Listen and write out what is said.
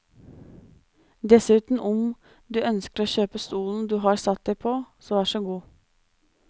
Dessuten, om du ønsker å kjøpe stolen du har satt deg på, så værsågod.